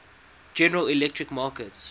general electric markets